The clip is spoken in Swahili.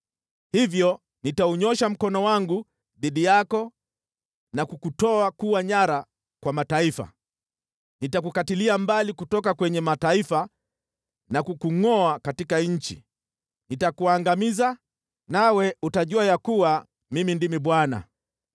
hivyo nitaunyoosha mkono wangu dhidi yako na kukutoa kuwa nyara kwa mataifa. Nitakukatilia mbali kutoka kwenye mataifa na kukungʼoa katika nchi. Nitakuangamiza, nawe utajua ya kuwa Mimi ndimi Bwana .’”